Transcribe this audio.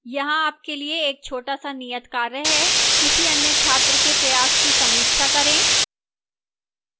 यहाँ आपके लिए एक छोटा सा नियत कार्य है किसी अन्य छात्र के प्रयास की समीक्षा करें